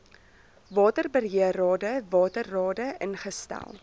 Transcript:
waterbeheerrade waterrade ingestel